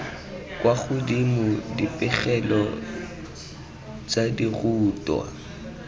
kwa godimo dipegelo tsa dirutwa